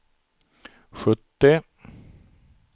sjuttio